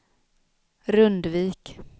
Rundvik